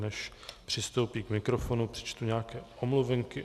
Než přistoupí k mikrofonu, přečtu nějaké omluvenky.